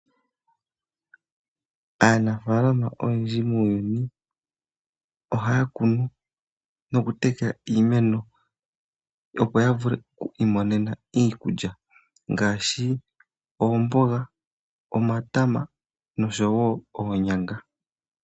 Aanafaalama oyendji muuyuni, ohaya kunu noku tekela iimeno, opo ya vule oku imonena iikulya ngaashi oomboga, omatama nosho wo oonyanga.